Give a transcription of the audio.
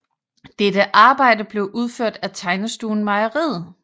Dette arbejde blev udført af Tegnestuen Mejeriet